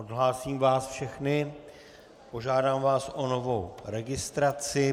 Odhlásím vás všechny, požádám vás o novou registraci.